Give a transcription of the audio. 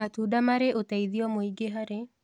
Matũnda marĩ ũteĩthĩo mũĩngĩ harĩ